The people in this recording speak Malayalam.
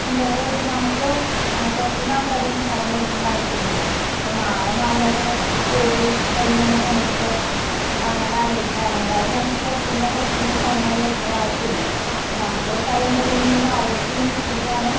ഉണ്ട് അതായത് നമുക്ക് ഏഹ് പുറത്തുനിന്ന് ആൾക്കാരുടെ കയ്യിന്ന് സ്ഥലം മേടിക്കണ്ട ആവശ്യമില്ലല്ലോ അപ്പോ മാമ മാമയുടെ ജോലി കഴിഞ്ഞു വന്ന സമയത്ത് അങ്ങനെ ആലോചിച്ചതാണ് എന്തായാലും നമുക്ക് പുറത്തുന്ന് പുറത്തുന്ന് സ്ഥലങ്ങള് മേടിക്കേണ്ട ആവശ്യമില്ല അപ്പോ നമുക്കൊരു സ്ഥലമുണ്ടല്ലോന്നിങ്ങനെ ആലോചിച്ചിങ്ങനെ ഇരിക്കുമ്പോഴാണ്